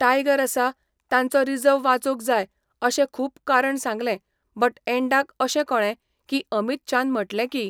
tiger आसा, तांचो reserve वाचोंक जाय अशें खूब कारण सांगलें बट एंडाक अशें कळें की अमीत शान म्हटलें की